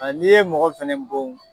A n'i ye mɔgɔ fɛnɛ bon